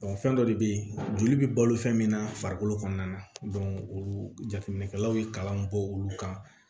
fɛn dɔ de bɛ yen joli bɛ balo fɛn min na farikolo kɔnɔna na olu jateminɛkɛlaw ye kalan bɔ olu kan